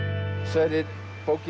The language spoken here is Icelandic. Sverrir bókin